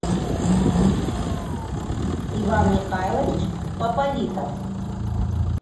иван михайлович пополитов